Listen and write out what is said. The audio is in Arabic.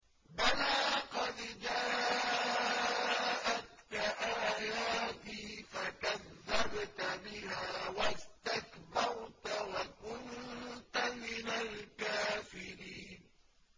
بَلَىٰ قَدْ جَاءَتْكَ آيَاتِي فَكَذَّبْتَ بِهَا وَاسْتَكْبَرْتَ وَكُنتَ مِنَ الْكَافِرِينَ